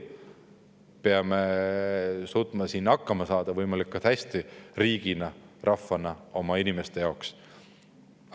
Ma peame suutma siin hakkama saada võimalikult hästi riigina ja rahvana, oma inimeste jaoks.